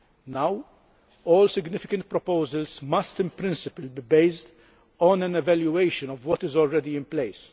Now all significant proposals must, in principle, be based on an evaluation of what is already in place.